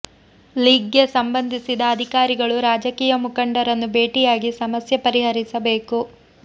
ಲೀಗ್ಗೆ ಸಂಬಂಧಿಸಿದ ಅಧಿಕಾರಿಗಳು ರಾಜಕೀಯ ಮುಖಂಡ ರನ್ನು ಭೇಟಿಯಾಗಿ ಸಮಸ್ಯೆ ಪರಿ ಹರಿಸಬೇಕು